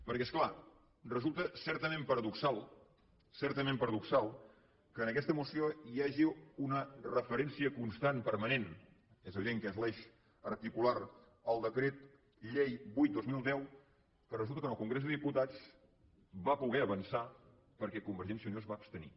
perquè és clar resulta certament paradoxal certament paradoxal que en aquesta moció hi hagi una referència constant permanent és evident que és l’eix articular al decret llei vuit dos mil deu que resulta que en el congrés dels diputats va poder avançar perquè convergència i unió es va abstenir